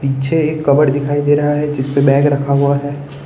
पीछे एक कबर्ड दिखाई दे रहा है जिस पे बैग रखा हुआ है।